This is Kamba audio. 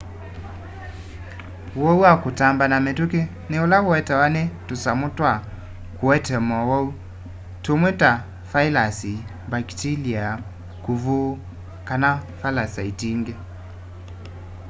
uwau wa kutamba na mituki ni ula uetawe ni tusamu twa kuete mowau tumwe ta vailasi mbakitilia kuvu kana valasaiti ingi